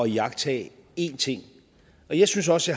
iagttage én ting jeg synes også